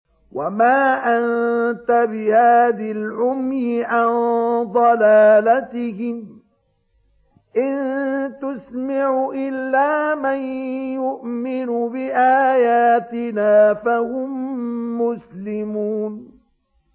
وَمَا أَنتَ بِهَادِي الْعُمْيِ عَن ضَلَالَتِهِمْ ۖ إِن تُسْمِعُ إِلَّا مَن يُؤْمِنُ بِآيَاتِنَا فَهُم مُّسْلِمُونَ